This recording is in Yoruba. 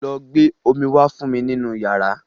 Lọ gbé omí wá fún mi nínú yàrá.